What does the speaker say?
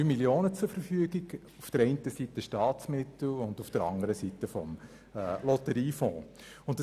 Dieses umfasst circa 3 Mio. Franken, zum einen aus Staatsmitteln und zum andern aus dem Lotteriefonds.